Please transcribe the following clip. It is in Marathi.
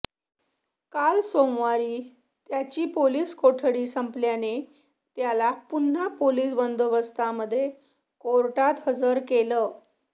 काल सोमवारी त्याची पोलीस कोठडी संपल्याने त्याला पुन्हा पोलीस बंदोबस्तामध्ये कोर्टात हजर केलं